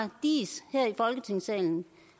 diis her i folketingssalen